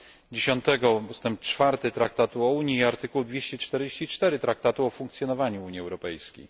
10 ust. 4 traktatu o Unii i art. 244 Traktatu o Funkcjonowaniu Unii Europejskiej.